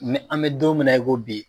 Mɛ an bɛ don min na i ko bi